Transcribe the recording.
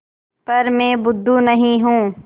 पर मैं बुद्धू नहीं हूँ